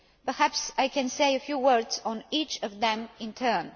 Perhaps I can say a few words on each of them in turn.